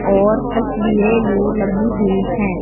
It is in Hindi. और तस्वीरें भी लगी हुई हैं।